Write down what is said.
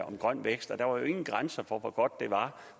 om grøn vækst og der var jo ingen grænser for hvor godt det var